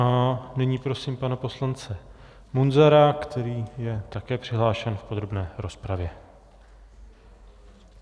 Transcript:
A nyní prosím pana poslance Munzara, který je také přihlášen v podrobné rozpravě.